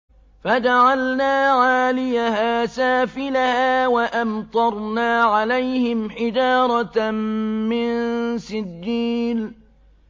فَجَعَلْنَا عَالِيَهَا سَافِلَهَا وَأَمْطَرْنَا عَلَيْهِمْ حِجَارَةً مِّن سِجِّيلٍ